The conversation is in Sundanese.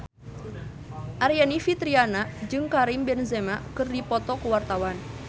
Aryani Fitriana jeung Karim Benzema keur dipoto ku wartawan